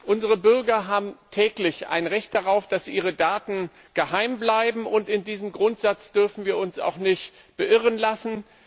Unsere Bürger haben ein Recht darauf, dass ihre Daten geheim bleiben. In diesem Grundsatz dürfen wir uns nicht beirren lassen.